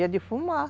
Ia defumar.